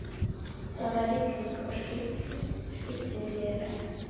Það var rigning og skyggni lélegt.